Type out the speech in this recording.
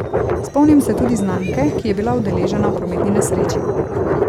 Spomnim se tudi znanke, ki je bila udeležena v prometni nesreči.